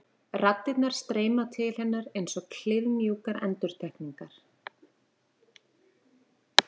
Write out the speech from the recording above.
Raddirnar streyma til hennar einsog kliðmjúkar endurtekningar.